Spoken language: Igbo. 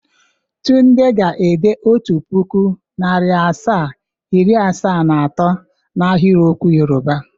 Tunde ga-ede Otu puku, nari asaa, iri asaa na ato na ahiriokwu Yọrụba.